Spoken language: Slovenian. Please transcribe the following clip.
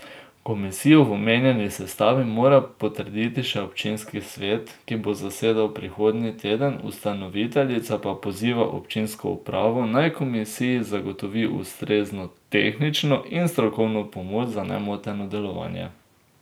Komisijo v omenjeni sestavi mora potrditi še občinski svet, ki bo zasedal prihodnji teden, ustanoviteljica pa poziva občinsko upravo, naj komisiji zagotovi ustrezno tehnično in strokovno pomoč za nemoteno delovanje.